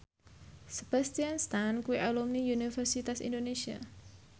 Sebastian Stan kuwi alumni Universitas Indonesia